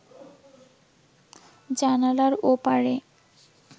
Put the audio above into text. জানালার ওপারে